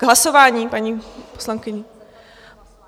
K hlasování, paní poslankyně?